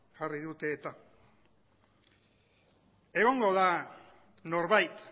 jarri dute eta egongo da norbait